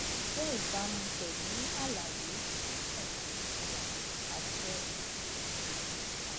èyí jẹ ìbámu pẹlú àlàyé tí ọfíìsìàṣẹ ìṣirò nàìjíríà